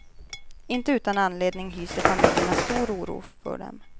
Inte utan anledning hyser familjerna stor oro för dem.